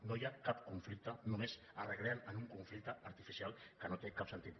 no hi ha cap conflicte només es recreen en un conflicte artificial que no té cap sentit